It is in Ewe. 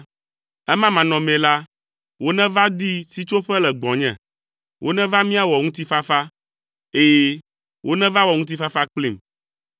Ema manɔmee la, woneva di sitsoƒe le gbɔnye; woneva míawɔ ŋutifafa, ɛ̃, woneva wɔ ŋutifafa kplim.”